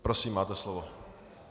Prosím, máte slovo.